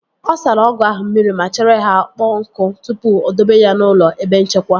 Ọ sara ọgụ ahụ mmiri ma chere ka ọkpọ nkụ tupu o dobe ya n'ụlọ ebe nchekwa